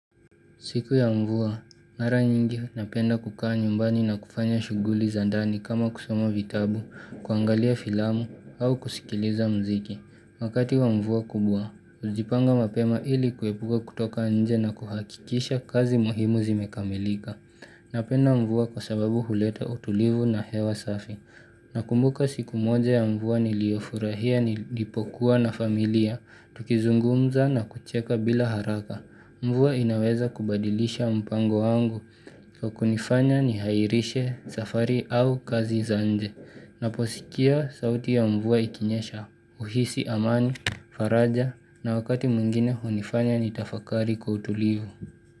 Siku ya mvua, mara nyingi napenda kukaa nyumbani na kufanya shughuli za ndani kama kusomo vitabu, kuangalia filamu au kusikiliza mziki. Wakati wa mvua kubwa, najipanga mapema ili kuepuka kutoka nje na kuhakikisha kazi muhimu zimekamilika. Napenda mvua kwa sababu huleta utulivu na hewa safi. Nakumbuka siku moja ya mvua niliofurahia nilipokuwa na familia, tukizungumza na kucheka bila haraka. Mvua inaweza kubadilisha mpango wangu kwa kunifanya nihairishe safari au kazi za nje. Naposikia sauti ya mvua ikinyesha uhisi amani, faraja na wakati mwingine hunifanya nitafakari kwa utulivu.